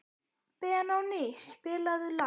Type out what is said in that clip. Benóný, spilaðu lag.